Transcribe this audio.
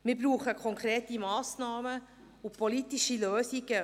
Wir brauchen konkrete Massnahmen und politische Lösungen.